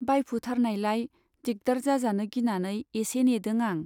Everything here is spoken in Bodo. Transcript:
बाइफुथारनायलाय दिग्दार जाजानो गिनानै एसे नेदों आं।